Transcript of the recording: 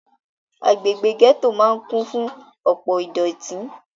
Agbègbè gẹ́tò máà kún fún ọ̀pọ ìdọ̀tí.